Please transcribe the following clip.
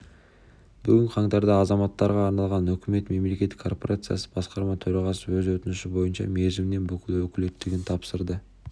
бүгін қаңтарда азаматтарға арналған үкімет мемлекеттік корпорациясы басқарма төрағасы өз өтініші бойынша мерзімінен бұрын өкілеттігін тапсырды